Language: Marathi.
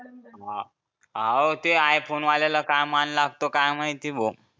अं आहो ते I phone वाल्याला काय मान लागतो काय माहित भो